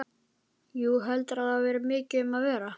Jú, heldurðu að það verði mikið um að vera?